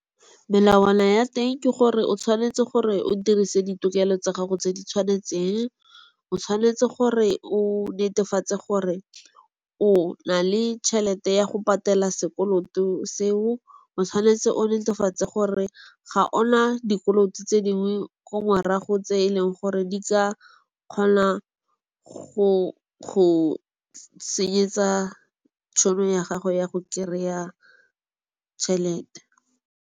Melawana ya teng ke gore o tshwanetse gore o dirise ditokelo tsa gago tse di tshwanetseng, o tshwanetse gore o netefatse gore o na le tšhelete ya go patela sekoloto seo. O tshwanetse o netefatse gore ga ona dikoloto tse dingwe ko morago tse e leng gore di ka kgona go senyetsa tšhono ya gago ya go kry-a tšhelete.